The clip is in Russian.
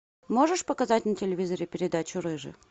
можешь показать на телевизоре передачу рыжий